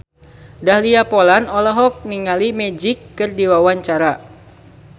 Dahlia Poland olohok ningali Magic keur diwawancara